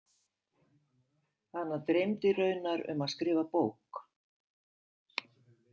Hana dreymdi raunar um að skrifa bók.